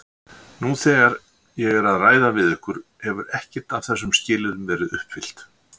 Nú þegar ég er að ræða við ykkur hefur ekkert af þessum skilyrðum verið uppfyllt.